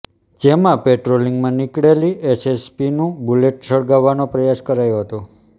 જેમાં પેટ્રોલિંગમાં નીકળેલી એએસપીનું બૂલેટ સળગાવવાનો પ્રયાસ કરાયો હતો